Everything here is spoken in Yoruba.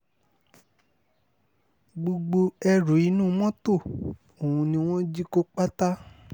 gbogbo ẹrù inú mọ́tò ọ̀hún ni wọ́n jí kó pátá